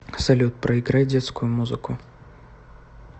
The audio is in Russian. салют проиграй детскую музыку